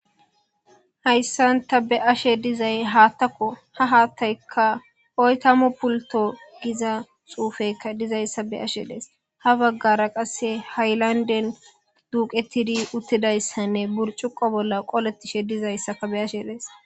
hayssanta be ashe dizay haattako ha haattaykka oytamo pulto giza xuufekka dizayssa be ashe dees ha baggara qasse haylanden duuqetidi uttidayssanne burcuqo bolla qolettishe dizayssaka be ashe dees